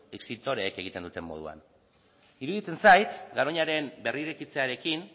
extintoreek egiten duten moduan iruditzen zait garoñaren berrirekitzearekin